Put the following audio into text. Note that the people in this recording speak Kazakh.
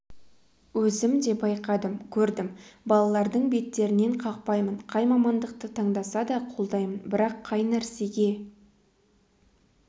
өзім де байқадым көрдім балалардың беттерінен қақпаймын қай мамандықты таңдаса да қолдаймын бірақ қай нәрсеге